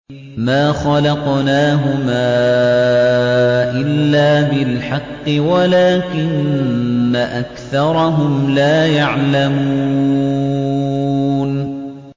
مَا خَلَقْنَاهُمَا إِلَّا بِالْحَقِّ وَلَٰكِنَّ أَكْثَرَهُمْ لَا يَعْلَمُونَ